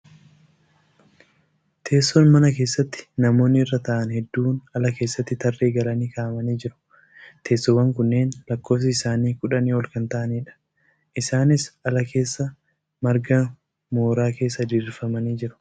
Teessoon mana keessatti namoonni irra taa'an heduun ala keessatti tarree galanii kaa'amanii jiru. Teessoowwan kunneen lakkoofsi isaanii kudhanii ol kan taa'aniidha. Isaanis ala keessa margaa mooraa keessa diriirfamanii jiru .